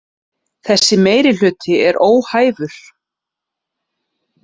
Þessi meirihluti er óhæfur